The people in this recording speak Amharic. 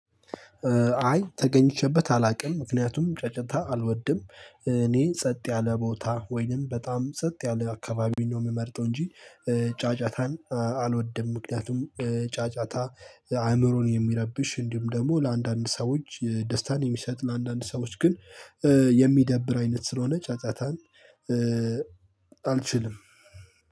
አይ ተገኝቼበት አላውቅም ምክንያቱም ጫጫታ አልወድም እኔ ጸጥ ያለ ቦታ ወይንም በጣም ጸጥ ያለ አካባቢ ነው የምመርጠው እንጂ። ጫጫታን አልወደም ምክንያቱም ጫጫታ አእምሮን የሚረብሽ እንዲሁም ደግሞ ለአንዳንድ ሰዎች ደስታን የሚሰጥ ለአንዳንድ ሰዎች ግን የሚደብር አይነት ስለሆነ ጫጫታን። አልችልም።